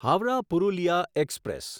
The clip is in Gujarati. હાવરાહ પુરુલિયા એક્સપ્રેસ